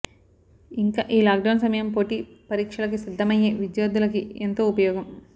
ఇంకా ఈ lockdown సమయం పోటీ పరీక్షలకి సిద్ధమయ్యే విద్యార్ధులకి ఎంతో ఉపయోగం